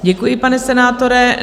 Děkuji, pane senátore.